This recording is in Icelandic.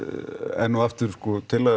enn og aftur tillaga